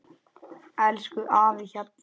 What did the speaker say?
Elsku afi Hjalli.